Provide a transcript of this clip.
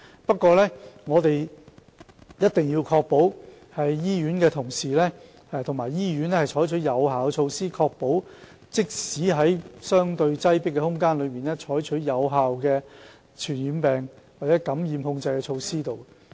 不過，我們一定要確保醫院的同事及醫院採取有效的措施，確保即使在相對擠迫的空間內，仍可採取有效的傳染病或感染控制措施。